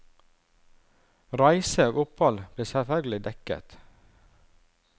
Reise og opphold blir selvfølgelig dekket.